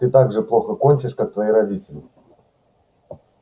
ты так же плохо кончишь как твои родители